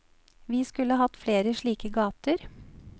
Vi skulle hatt flere slike gater.